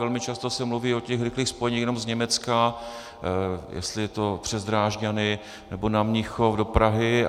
Velmi často se mluví o těch rychlých spojeních jenom z Německa, jestli je to přes Drážďany, nebo na Mnichov do Prahy.